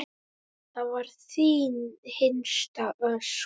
Það var þín hinsta ósk.